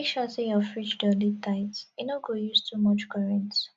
make sure sey your fridge door dey tight e no go use too much current